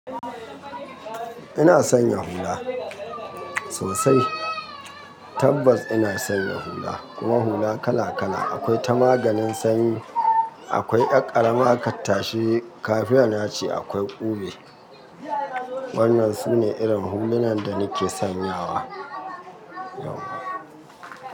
Ina sanya hula sosai. Tabbas ina sanya hula, kuma hula kala kala. Akwai ta maganin sanyi, akwai 'yar karama ka tashi kafiya naci, akwai ube. Waɗannan sune irin hulunan da nake sanyawa.